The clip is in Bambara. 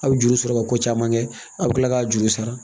A bɛ juru sɔrɔ ka ko caman kɛ a bɛ tila k'a juru sara